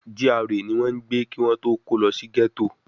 GRA ni wọ́n ń gbé kí wọ́n tó kó lọ sí gẹ́tò